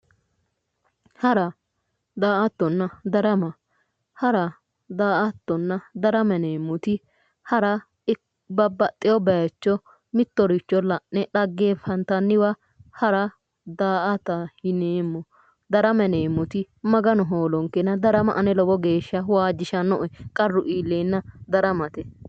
Hara daa"attonna darama hara daa"attonna darama yineemmoti hara babbaxxeyo bayiicho mittoricho la'ne dhaggeenfantanniwa hara daa"ata darama yineemmoti maganu hoolonkena ane darama lowo geeshsha waajjishanno"e qarru iilleenna daramate